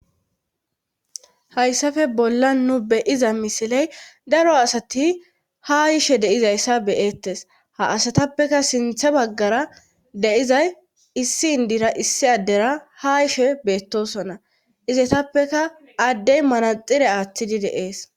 Hayssafe bolla nu beyiza misiley daro asati ha yishe deizayssa beyeettes ha asatappeka sinthe baggara deizay issi indira issi addera ha yishe beettosona izetappeka addey manaxire aaththidi deees.